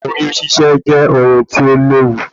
Oyún ṣíṣe jẹ́ ohun tí ó léwu